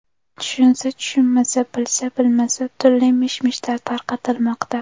Tushunsa tushunmasa, bilsa bilmasa turli mish-mishlar tarqatilmoqda.